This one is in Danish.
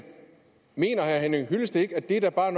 mener herre henning hyllested ikke at det da bare er